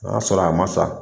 An y'a sɔrɔ a ma sa.